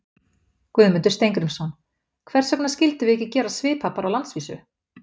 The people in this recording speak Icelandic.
Guðmundur Steingrímsson: Hvers vegna skildum við ekki gera svipað bara á landsvísu?